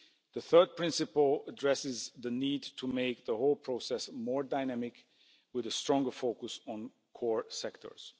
The third principle addresses the need to make the whole process more dynamic, with a stronger focus on core sectors.